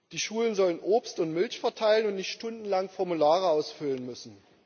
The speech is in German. Die Schulen sollen Obst und Milch verteilen und nicht stundenlang Formulare ausfüllen müssen.